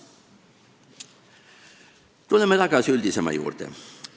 " Tuleme tagasi üldisema juurde.